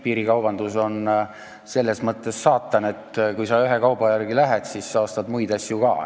Piirikaubandus on selles mõttes saatan, et kui sa ühe kauba järele lähed, siis sa ostad muid asju ka.